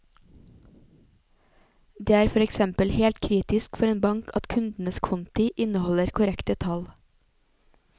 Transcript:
Det er for eksempel helt kritisk for en bank at kundenes konti inneholder korrekte tall.